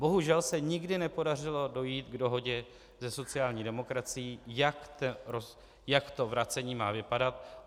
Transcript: Bohužel se nikdy nepodařilo dojít k dohodě se sociální demokracií, jak to vracení má vypadat.